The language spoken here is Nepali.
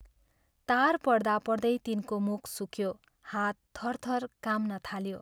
तार पढ्दा पढ्दै तिनको मुख सुक्यो हात थरथर काम्न थाल्यो।